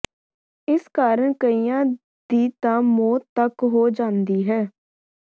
ਇਸ ਕਾਰਨ ਕਈਆਂ ਦੀ ਤਾਂ ਮੌਤ ਤਕ ਹੋ ਜਾਂਦੀ ਹੈ